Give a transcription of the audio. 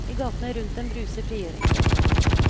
I gatene rundt dem bruser frigjøringsfesten.